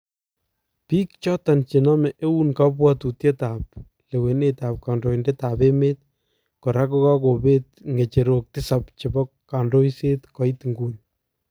Biik choton chename eun kabwatutiet ab lewenet ab kandointed ab emet koraa kokakobeet ng'echerook tisap chebo kandoiset koit nguni.